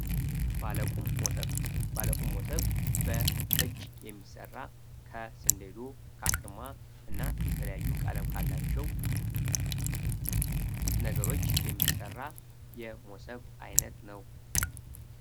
ባለቁን ሞሰብ ባለቁን ሞሰብ በእጅ የሚሠራ ከስንሉ ከማ እና ከተለያዩ ቀለም ካላቸው ነገሮች የሚሠራ የሞሰብ ዓይነት ነው